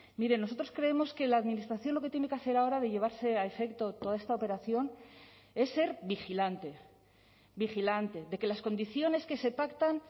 miren nosotros creemos que la administración lo que tiene que hacer ahora de llevarse a efecto toda esta operación es ser vigilante vigilante de que las condiciones que se pactan